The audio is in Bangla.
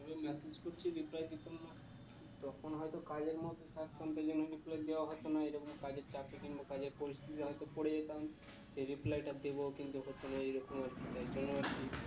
message পড়ছি reply দিতাম না তখন হয়তো কাজের মধ্যে থাকতাম তাই জন্য reply দেওয়া হতো না এরকম কাজের চাপ mobile এর পরিস্থিতি তে হয়তো পরে যেতাম যে reply টা দেব কিন্তু ততক্ষনে এই রকম